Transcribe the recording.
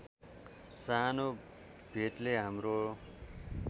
सानो भेटले हाम्रो